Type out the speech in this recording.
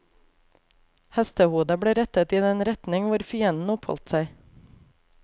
Hestehodet ble rettet i den retning hvor fienden oppholdt seg.